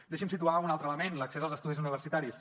deixi’m situar un altre element l’accés als estudis universitaris